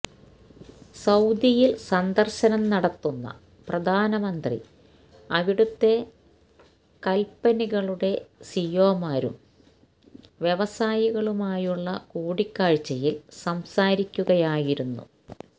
സൌദിയിൽ സന്ദർശന നടത്തുന്ന പ്രധാനമന്ത്രി അവിടത്തെ കന്പനികളുടെ സിഇഒമാരും വ്യവസായികളുമായുള്ള കൂടിക്കാഴ്ചയിൽ സംസാരിക്കുയായിരുന്നു